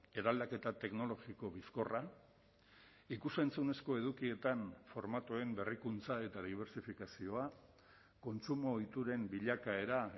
eraldaketa teknologiko bizkorra ikus entzunezko edukietan formatuen berrikuntza eta dibertsifikazioa kontsumo ohituren bilakaera